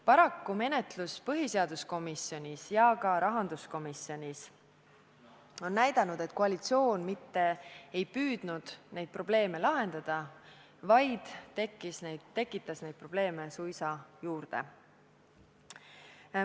Paraku menetlus põhiseaduskomisjonis ja ka rahanduskomisjonis on näidanud, et koalitsioon mitte ei püüdnud neid probleeme lahendada, vaid tekitas probleeme suisa juurde.